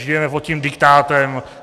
Žijeme pod tím diktátem.